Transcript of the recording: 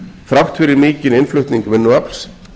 þrátt fyrir mikinn innflutning vinnuafls